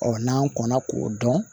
Ɔ n'an kɔnna k'o dɔn